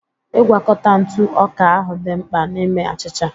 Ịgwakọta ntụ ọka ahụ dị mkpa n'ime achịcha